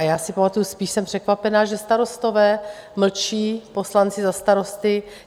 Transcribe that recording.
A já si pamatuji, spíš jsem překvapena, že Starostové mlčí, poslanci za Starosty.